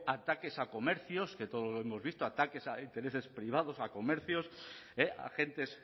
ataques a comercios que todos lo hemos visto ataques a intereses privados a comercios agentes